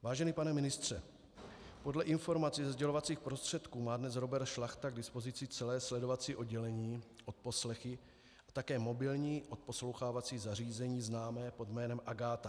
Vážený pane ministře, podle informací ze sdělovacích prostředků má dnes Robert Šlachta k dispozici celé sledovací oddělení, odposlechy a také mobilní odposlouchávací zařízení známé pod jménem Agáta.